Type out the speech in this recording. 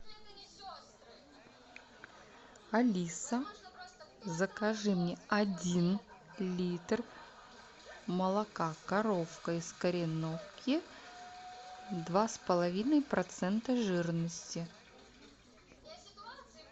алиса закажи мне один литр молока коровка из кореновки два с половиной процента жирности